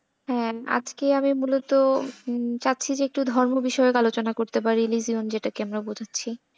হ্যাঁ আজকে আমি মূলত হম চাচ্ছি যে একটু ধর্ম বিষয়ক আলোচনা করতে পারি religion যেটাকে আমরা বোঝাচ্ছি।